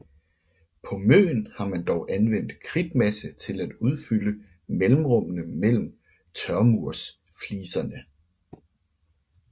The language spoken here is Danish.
På Møn har man dog anvendt kridtmasse til at udfylde mellemrummene mellem tørmursfliserne